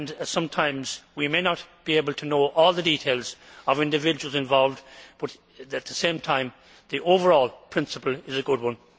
Sometimes, we may not be able to know all the details of individuals involved, but at the same time, the overall principle is a good one.